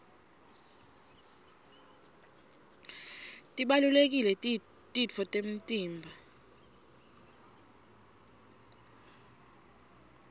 tibalulekile titfo temtimba